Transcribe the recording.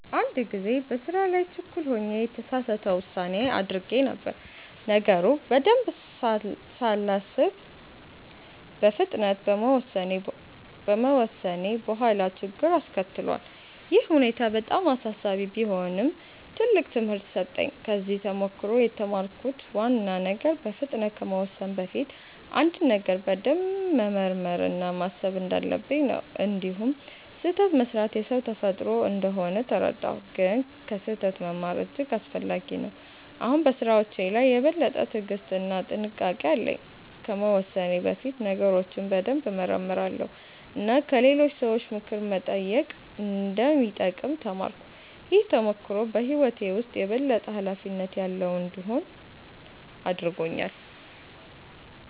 አንድ ጊዜ በስራ ላይ ችኩል ሆኜ የተሳሳት ውሳኔ አድርጌ ነበር። ነገሩን በደንብ ሳላስብ በፍጥነት በመወሰኔ በኋላ ችግር አስከትሏል። ይህ ሁኔታ በጣም አሳሳቢ ቢሆንም ትልቅ ትምህርት ሰጠኝ። ከዚህ ተሞክሮ የተማርኩት ዋና ነገር በፍጥነት ከመወሰን በፊት አንድን ነገር በደንብ መመርመር እና ማሰብ እንዳለብኝ ነው። እንዲሁም ስህተት መስራት የሰው ተፈጥሮ እንደሆነ ተረዳሁ፣ ግን ከስህተት መማር እጅግ አስፈላጊ ነው። አሁን በስራዎቼ ላይ የበለጠ ትዕግስት እና ጥንቃቄ አለኝ። ከመወሰኔ በፊት ነገሮችን በደንብ እመረምራለሁ እና ከሌሎች ሰዎች ምክር መጠየቅ እንደሚጠቅም ተማርኩ። ይህ ተሞክሮ በህይወቴ ውስጥ የበለጠ ኃላፊነት ያለው እንድሆን አድርጎኛል።